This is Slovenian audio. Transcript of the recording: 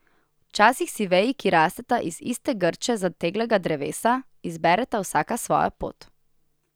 Včasih si veji, ki rasteta iz iste grče zateglega drevesa, izbereta vsaka svojo pot.